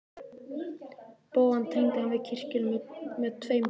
Bogann tengdi hann við kirkjuna með tveim strikum.